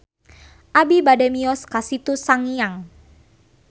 Abi bade mios ka Situ Sangiang